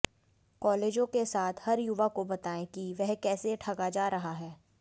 कॉलेजों के साथ हर युवा को बताएं कि वह कैसे ठगा जा रहा है